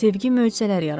Sevgi möcüzələr yaradır.